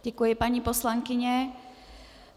Děkuji, paní poslankyně.